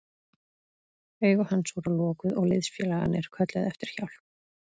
Augu hans voru lokuð og liðsfélagarnir kölluðu eftir hjálp.